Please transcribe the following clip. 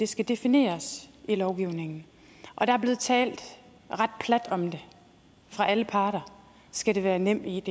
skal defineres i lovgivningen der er blevet talt ret plat om det fra alle parter skal det være nemid